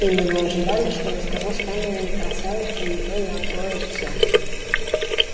или вы ожидали что я скажу стань моей красавица не то я отрою всё